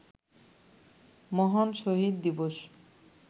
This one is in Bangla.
মহান শহিদ দিবস